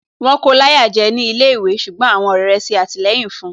Wọ́n kóo láyà jẹ́ ní ilé ìwé ṣùgbọ́n àwọn ọ̀rẹ́ rẹ̀ ṣe àtìlẹyìn fun